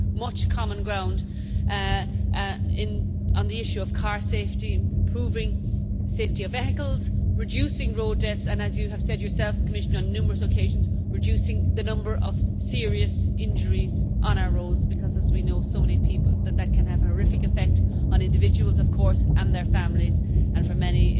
We have much common ground on the issue of car safety improving the safety of vehicles, reducing road deaths, and as you have said yourself, Commissioner, on numerous occasions reducing the number of serious injuries on our roads, because, as we know from so many people, these can have a horrific effect on individuals and their families. Many